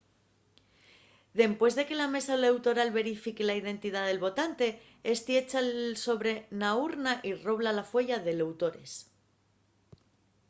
dempués de que la mesa eleutoral verifique la identidá del votante ésti echa’l sobre na urna y robla la fueya d’eleutores